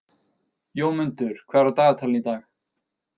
Jómundur, hvað er á dagatalinu í dag?